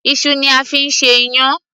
iṣu ni a fi ń ṣe iyán